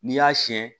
N'i y'a siyɛn